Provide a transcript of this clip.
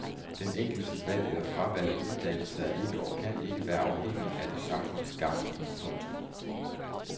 Den enkeltes valg eller fravalg af uddannelse er ikke og kan ikke være afhængigt af det samfundsgavnlige. punktum